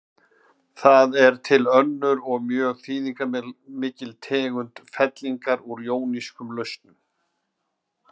Það er til önnur og mjög þýðingarmikil tegund fellingar úr jónískum lausnum.